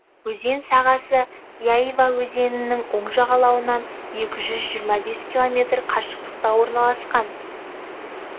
өзен сағасы яйва өзенінің оң жағалауынан екі жүз жиырма бес километр қашықтықта орналасқан